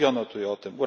Mówiono tu o tym.